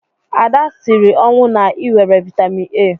Ada siri ọnwụ na-ịwere vitamin A.